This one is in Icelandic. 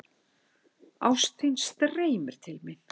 Ást þín streymir til mín.